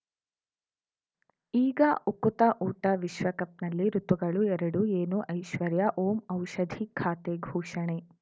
ಈಗ ಉಕುತ ಊಟ ವಿಶ್ವಕಪ್‌ನಲ್ಲಿ ಋತುಗಳು ಎರಡು ಏನು ಐಶ್ವರ್ಯಾ ಓಂ ಔಷಧಿ ಖಾತೆ ಘೋಷಣೆ